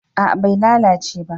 A'a bai lalace ba